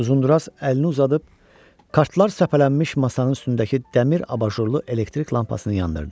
Uzunduraz əlini uzadıb kartlar səpələnmiş masanın üstündəki dəmir abajurlu elektrik lampasını yandırdı.